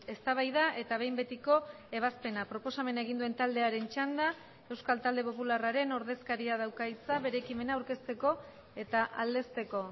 eztabaida eta behin betiko ebazpena proposamena egin duen taldearen txanda euskal talde popularraren ordezkaria dauka hitza bere ekimena aurkezteko eta aldezteko